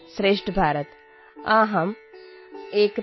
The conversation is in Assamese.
नमोनमः सर्वेभ्यः